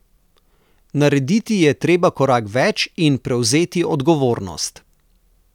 Narediti je treba korak več in prevzeti odgovornost.